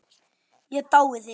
Ég dái þig.